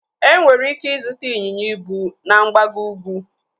Enwere ike ịzụta ịnyịnya ibu na mgbago ukwu.